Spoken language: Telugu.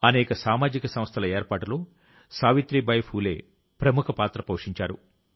అనేక సామాజిక సంస్థల ఏర్పాటులో సావిత్రీబాయి ఫూలే ప్రముఖ పాత్ర పోషించారు